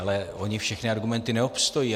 Ale ony všechny argumenty neobstojí.